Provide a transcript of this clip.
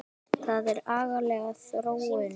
Það er agaleg þróun.